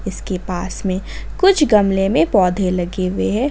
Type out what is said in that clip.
इसके पास में कुछ गमले में पौधे लगे हुए हैं।